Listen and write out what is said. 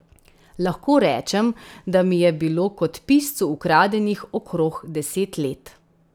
Lahko rečem, da mi je bilo kot piscu ukradenih okrog deset let.